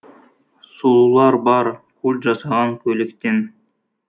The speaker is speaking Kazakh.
сұлулар бар культ жасаған көйлектен